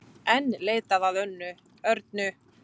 Enn leitað að Örnu